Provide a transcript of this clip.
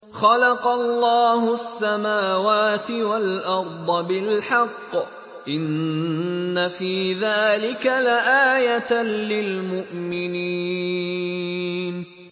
خَلَقَ اللَّهُ السَّمَاوَاتِ وَالْأَرْضَ بِالْحَقِّ ۚ إِنَّ فِي ذَٰلِكَ لَآيَةً لِّلْمُؤْمِنِينَ